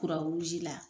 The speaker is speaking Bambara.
la